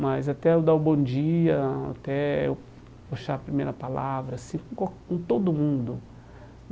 mas até eu dar o bom dia, até eu puxar a primeira palavra, assim, com qual com todo mundo.